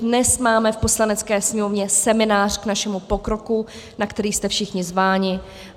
Dnes máme v Poslanecké sněmovně seminář k našemu pokroku, na který jste všichni zváni.